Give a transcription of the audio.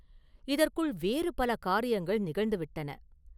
இதற்குள் வேறு பல காரியங்கள் நிகழ்ந்து விட்டன.